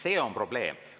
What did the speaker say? See on probleem.